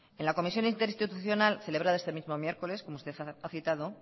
en la comisión interinstitucional celebrado este mismo miércoles como usted ha citado